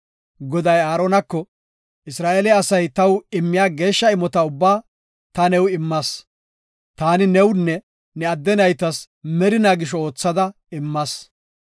Goday Aaronako, “Isra7eele asay taw immiya geeshsha imota ubbaa ta new immas. Taani newunne ne adde naytas merinaa gisho oothada immas.